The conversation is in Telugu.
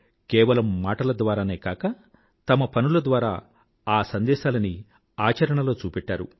కేవలం మాటల ద్వారానే కాక తన పనుల ద్వారా ఆ సందేశాలని చేసి చూపెట్టారు